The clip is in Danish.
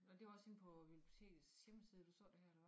Og det var også inde på bibliotekets hjemmeside du så det her eller hvad